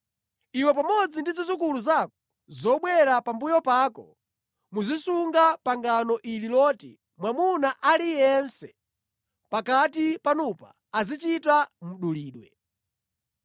Iwe pamodzi ndi zidzukulu zako zobwera pambuyo pako muzisunga pangano ili loti mwamuna aliyense pakati panupa azichita mdulidwe.